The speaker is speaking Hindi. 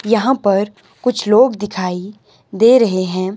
यहां पर कुछ लोग दिखाई दे रहे हैं।